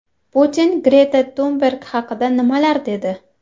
Putin Greta Tunberg haqida nimalar dedi?